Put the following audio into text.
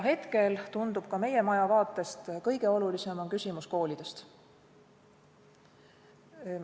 Hetkel tundub ka meie maja vaatest, et kõige olulisem on küsimus õppetööst koolides.